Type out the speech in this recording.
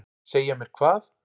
Segja mér hvað?